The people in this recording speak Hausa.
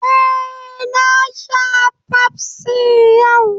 Eh, na sha fafsi yau